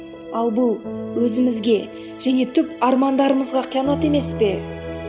ал бұл өзімізге және түп армандарымызға қиянат емес пе